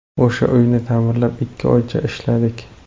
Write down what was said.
O‘sha uyni ta’mirlab ikki oycha ishladik.